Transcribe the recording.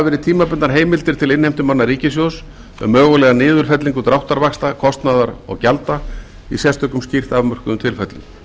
verið tímabundnar heimildir til innheimtumanna ríkissjóðs um mögulega niðurfellingu dráttarvaxta kostnaðar og gjalda í sérstökum skýrt afmörkuðum tilfellum